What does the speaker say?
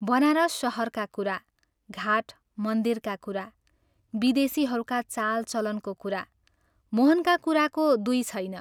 बनारस शहरका कुरा, घाट मन्दिरका कुरा, विदेशीहरूका चालचलनको कुरा मोहनका कुराको दुई छैन।